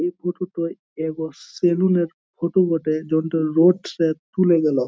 এই ফোটো টোয় এবস সেলুন -এর ফটো বটে তুলে গেলো।